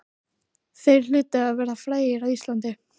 Þeir hlutu að vera frægir á Íslandi.